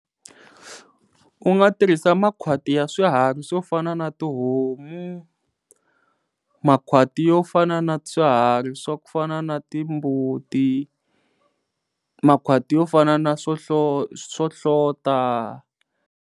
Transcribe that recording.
U nga tirhisa makhwati ya swiharhi swo fana na tihomu, makhwati yo fana na swiharhi swa ku fana na ti mbuti, makhwati yo fana na swo hlo swohlota.